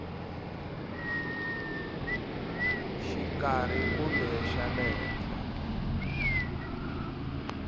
xikarhi kumbe xa le henhla